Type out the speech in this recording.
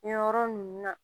Nin yɔrɔ ninnu na